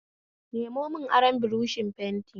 Nemo mun aron buroshin fenti